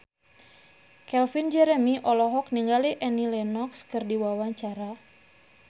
Calvin Jeremy olohok ningali Annie Lenox keur diwawancara